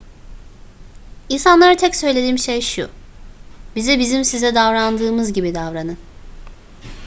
i̇nsanlara tek söylediğim şey şu: bize bizim size davrandığımız gibi davranın